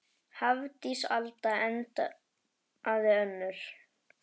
Hafdís Alda endaði önnur.